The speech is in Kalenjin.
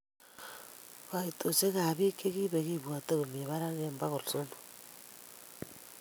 Kaitosiek ab bik chi kibek kokibwatien komi baraka eng bogol somok.